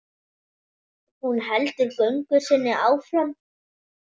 Hún heldur göngu sinni áfram.